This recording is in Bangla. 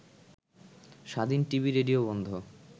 স্বাধীন টিভি-রেডিও বন্ধ